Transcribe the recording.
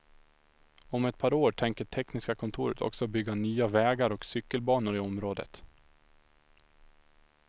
Om ett par år tänker tekniska kontoret också bygga nya vägar och cykelbanor i området.